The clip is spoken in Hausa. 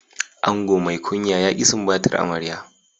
Ango mai kunya ya ki sumbatar amarya.